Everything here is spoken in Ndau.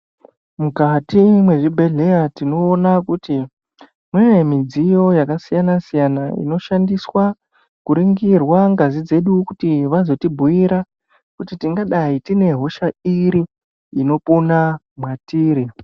Mukati mwezvibhehleya tinoona kuti mune midziyo yakasiyana siyana inoshandiswa kuningira ngazi dzedu kuti vazotibhuira kuti tingadai tine hosha iri inopona mwatiri.